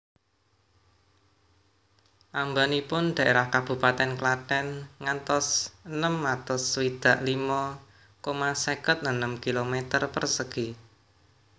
Åmbånipun daerah kabupatèn Klathen ngantos enem atus swidak limo koma seket enem kilometer persegi